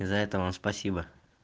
за это вам спасибо